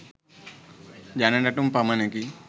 ජන නැටුම් පමණකි.